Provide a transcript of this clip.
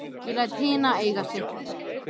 Ég læt hina eiga sig.